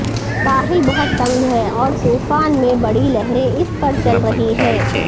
ساحل بہت تنگ ہے اور طوفان میں بڑی لہریں اس پر چل رہی ہیں